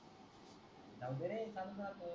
जाऊदे रे चालून जात